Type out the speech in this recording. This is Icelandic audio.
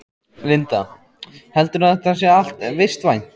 Linda: Heldurðu að þetta sé allt vistvænt?